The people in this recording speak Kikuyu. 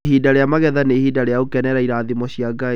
Ihinda rĩa magetha nĩ ihinda rĩa gũkenerera irathimo cia Ngai.